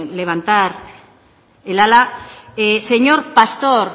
levantar el ala señor pastor